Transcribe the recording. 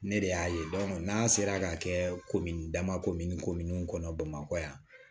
Ne de y'a ye n'a sera ka kɛ komi dama komin kominw kɔnɔ bamakɔ yan